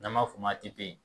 N'an fɔ o ma